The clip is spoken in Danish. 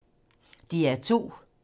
DR2